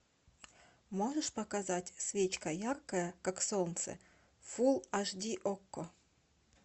можешь показать свечка яркая как солнце фулл аш ди окко